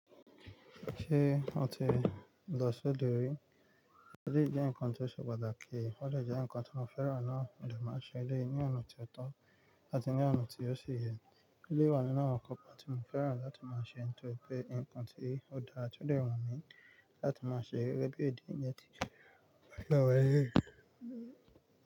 Ṣé o ti lọ sí odò rí? Ó lè jẹ́ ǹkan tó ṣe pàtàkì, ó lè jẹ́ ǹkan tí mo fẹ́ràn náà mo de máa ṣe ní ọ̀nà tí ó tán àti ní ọ̀nà tí ó ṣe yẹ. Ilé wa ni ọ̀nà kan tí mo fẹ́ràn láti máa ṣe nítorí pé ǹkan tí ó daa tí ó lè wù mí láti máa ṣe gẹ́gẹ́ bí èdè ń jẹ́ ti.